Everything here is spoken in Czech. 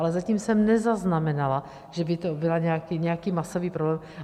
Ale zatím jsem nezaznamenala, že by to byl nějaký masový problém.